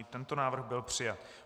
I tento návrh byl přijat.